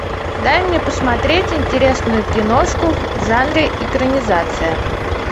дай мне посмотреть интересную киношку в жанре экранизация